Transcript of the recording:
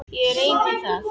Ég reyni það.